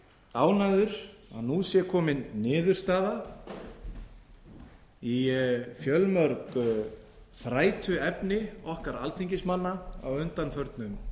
ánægður að nú sé komin niðurstaða í fjölmörg þrætuefni okkar alþingismanna á undanförnum